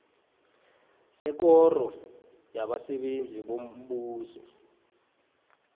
sekoro yabasebenzi bombuso